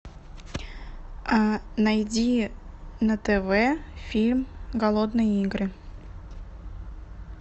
найди на тв фильм голодные игры